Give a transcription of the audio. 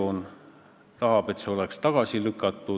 Küll aga tegite te ettepaneku otsustamine edasi lükata.